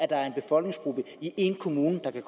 der er en befolkningsgruppe i én kommune der kan